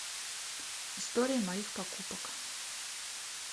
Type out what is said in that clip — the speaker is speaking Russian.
история моих покупок